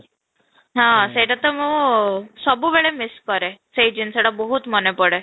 ହଁ ସେଇଟା ତ ମୁଁ ସବୁବେଳେ ମିସସ କରେ ସେଇ ଜିନିଷଟା ବହୁତ ମାନେ ପଡେ